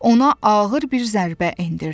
Ona ağır bir zərbə endirdi.